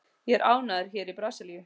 Ég er ánægður hér í Brasilíu.